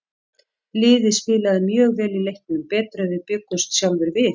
Liðið spilaði mjög vel í leiknum, betur en við bjuggumst sjálfir við.